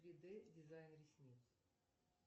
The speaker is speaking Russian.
три дэ дизайн ресниц